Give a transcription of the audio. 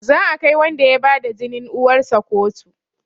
Za a kai wanda ya bada jinin uwarsa kotu